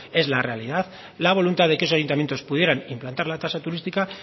es la realidad la voluntad de que esos ayuntamientos pudieran implantar la tasa turística